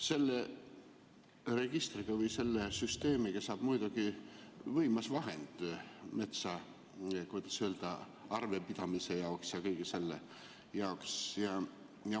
Sellest registrist või sellest süsteemist saab muidugi võimas vahend, kuidas öelda, metsa üle arvepidamise jaoks ja kõige selle jaoks.